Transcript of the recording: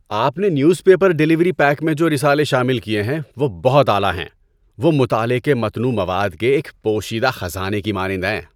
آپ نے newspaper delivery pack میں جو رسالے شامل کیے ہیں وہ بہت اعلیٰ ہیں۔ وہ مطالعہ کے متنوع مواد کے ایک پوشیدہ خزانے کی مانند ہیں۔